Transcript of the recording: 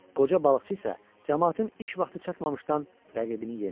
Qoca balıqçı isə camaatın iş vaxtı çatmamışdan rəqibini yendi.